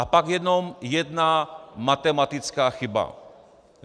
A pak jenom jedna matematická chyba.